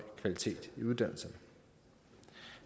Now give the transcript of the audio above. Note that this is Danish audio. kvalitet i uddannelserne